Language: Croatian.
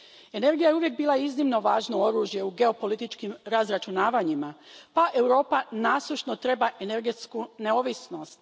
Energija je uvijek bila iznimno važno oružje u geopolitičkim razračunavanjima pa Europa nasušno treba energetsku neovisnost.